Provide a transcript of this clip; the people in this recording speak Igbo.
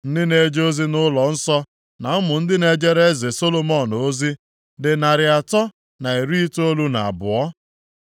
Ndị na-eje ozi nʼụlọnsọ na ụmụ ndị na-ejere eze Solomọn ozi, dị narị atọ na iri itoolu na abụọ (392).